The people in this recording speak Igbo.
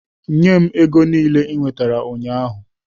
Nye m ego niile i nwetara ụnyahụ!